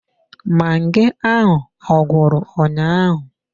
Magi ahụ ọ gwụrụ ụnyaahụ?